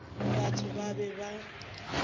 batho ba ba be ba